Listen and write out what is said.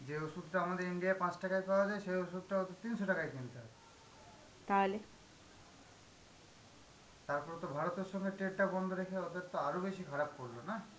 যে ওষুধটা আমাদের India এ পাঁচ টাকায় পাওয়া যায়, সেই ওষুধটা ওদের তিনশ টাকায় কিনতে হয়. তারপর তো ভারতের সঙ্গে trade টা বন্ধ রেখে ওদের তো আরো বেশি খারাপ করলো না.